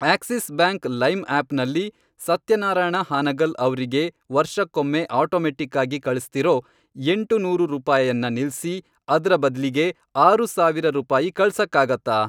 Axis Bank Lime ಆಪ್ನಲ್ಲಿ ಸತ್ಯನಾರಾಯಣ ಹಾನಗಲ್ ಅವ್ರಿಗೆ ವರ್ಷಕ್ಕೊಮ್ಮೆ ಆಟೋಮೆಟ್ಟಿಕ್ಕಾಗಿ ಕಳಿಸ್ತಿರೋ ಎಂಟುನೂರು ರೂಪಾಯನ್ನ ನಿಲ್ಸಿ, ಅದ್ರ ಬದ್ಲಿಗೆ ಆರು ಸಾವಿರ ರೂಪಾಯಿ ಕಳ್ಸಕ್ಕಾಗತ್ತಾ?